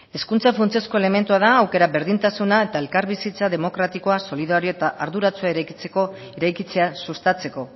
hezkuntza funtsezko elementua da aukera berdintasuna eta elkarbizitza demokratikoa solidarioa eta arduratsua eraikitzea sustatzeko